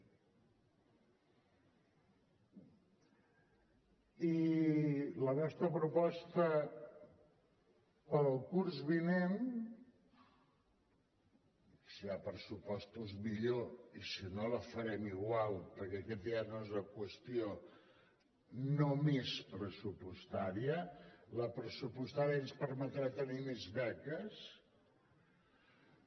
i la nostra proposta per al curs vinent si hi ha pressupostos millor i si no la farem igual perquè aquesta no és una qüestió només pressupostària la pressupostària ens permetrà tenir més beques